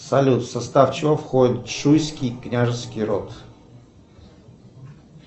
салют в состав чего входит шуйский княжеский род